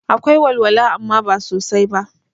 Akwai walwala amma ba sosai ba